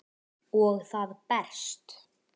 Og það berst.